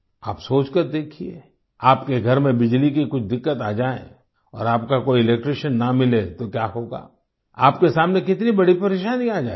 आप सोचकर देखिए आपके घर में बिजली की कुछ दिक्कत आ जाए और आपका कोई इलेक्ट्रिशियन ना मिले तो क्या होगा आपके सामने कितनी बड़ी परेशानी आ जाएगी